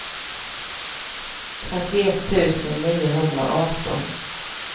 trettioett tusen niohundraarton